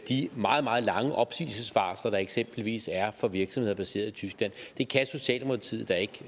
de meget meget lange opsigelsesvarsler der eksempelvis er for virksomheder baseret i tyskland det kan socialdemokratiet da